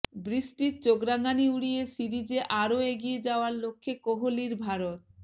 বৃষ্টির চোখ রাঙনি উড়িয়ে সিরিজে আরও এগিয়ে যাওয়ার লক্ষ্যে কোহলির ভারত